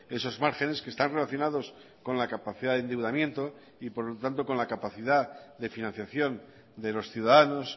esos márgenes que están relacionados con la capacidad de endeudamiento y por lo tanto con la capacidad de financiación de los ciudadanos